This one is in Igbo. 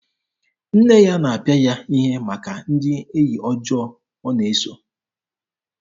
Nne ya na-apịa ya ihe maka ndị enyi ọjọọ ọ na-eso.